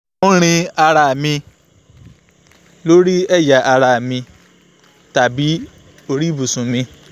mo ń rin ara mi lórí ẹ̀yà ara mi tàbí lórí ibùsùn mi